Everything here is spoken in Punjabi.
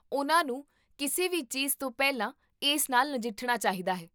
ਉਨ੍ਹਾਂ ਨੂੰ ਕਿਸੇ ਵੀ ਚੀਜ਼ਤੋਂ ਪਹਿਲਾਂ ਇਸ ਨਾਲ ਨਜਿੱਠਣਾ ਚਾਹੀਦਾ ਹੈ